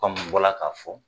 n bɔra ka fɔ